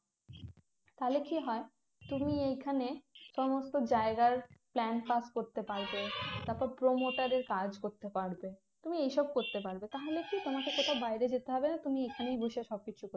তাহলে কি হয় তুমি এখানে সমস্ত জায়গায় plan pass করতে পারবে তারপর promoter এর কাজ করতে পারবে তুমি এই সব করতে পারবে তাহলে কি তোমাকে কোথাও বাইরে যেতে হবে না তুমি এখানেই বসে সব কিছু